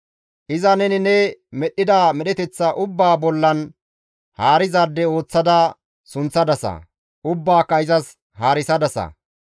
Iza neni ne medhdhida medheteththa ubbaa bollan haarizaade ooththada sunththadasa; ubbaaka izas haarisadasa.